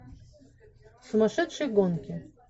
сумасшедшие гонки